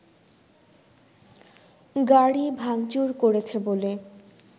গাড়ি ভাংচুর করেছে বলে